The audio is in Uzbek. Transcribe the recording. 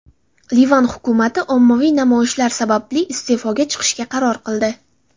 Livan hukumati ommaviy namoyishlar sababli iste’foga chiqishga qaror qildi.